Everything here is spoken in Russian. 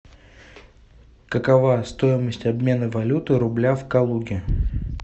какова стоимость обмена валюты рубля в калуге